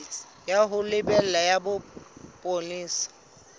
ya ho lebela ya bopolesa